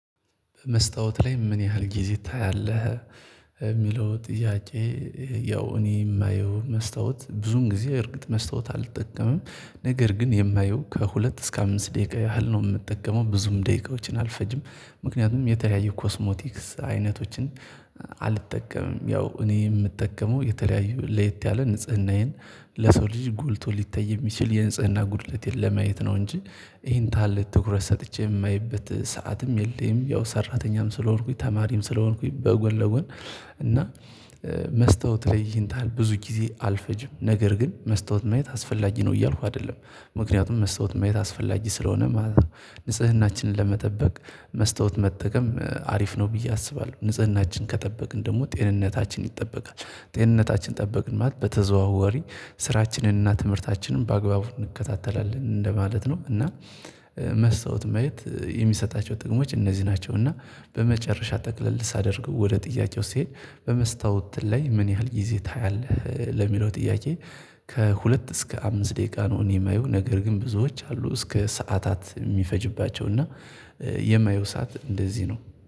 መስታወት ላይ ምን ያህል ጊዜ ታያለህ የሚለው ጥያቄ? ያው እኔ የማየው መስታወት ብዙን ጊዜ እርግጥ መስታወት አልጠቀመም ነገር ግን የማየው ከሁለት እስከ አምስት ደቂቃ ያህል ነው የምጠቀመው ብዙም ደቂቃዎችን አልፈጅም። ምክንያቱም የተለያየ ኮስሞቲክስ አይነቶችን አልጠቀምም ያው እኔ የምጠቀመው የተለያዩ ለየት ያለ ንጽህናዬን ለሰው ልጅ ጎልቶ ሊታይ የሚችል የንጽህና ጉድለት ለማየት ነው እንጂ ይሄን ታለት ትኩረት ሰጥቼ የማየበት ሰዓትም የለም። ያው ሰራተኛም ስለሆንኩኝ ተማሪም ስለሆንኩኝ በጎን ለጎን እና መስታወት ለይ ይህን ታህል ብዙ ጊዜ አልፈጅም ነገር ግን መስታወት ማየት አስፈላጊ ነው እያልኩ አይደለም። ምክንያቱም መስታወት ማየት አስፈላጊ ስለሆነ ማለት ነው። ንጽህናችንን ለመጠበቅ መስታወት መጠቀም አሪፍ ነው ብዬ አስባለሁ ንጽህናችን ከጠበቅን ደግሞ ጤንነታችን ይጠበቃል። ጤንነታችን ጠበቅን ማለት በተዘዋዋሪ ስራችንንና እና ትምህርታችንን በአግባቡ እንከታተላለን እንደማለት ነው እና። መስታወት ማየት የሚሰጣቸው ጥቅሞች እነዚህ ናቸው። እና በመጨረሻ ጠቅለል ሳደርገው ወደ ጥያቄው ስሄድ በመስታወት ላይ ምን ያህል ጊዜ ታያለህ ለሚለው ጥያቄ? ከሁለት እስከ አምስት ደቂቃ ነው እኔ የማየው ነገር ግን ብዙዎች አሉ እስከ ሰዓታት የሚፈጅባቸው እና የማየው ሰዓት እንደዚህ ነው